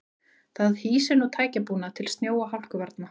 Það hýsir nú tækjabúnað til snjó og hálkuvarna.